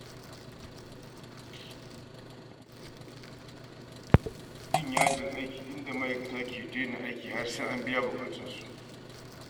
Yin yajin aiki inda ma’aikata ke daina aiki har sai an biya bukatunsu.